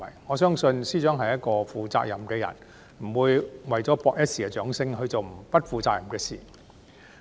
我相信，司長是一個負責任的人，不會為了博取一時掌聲，而去做不負責任的事。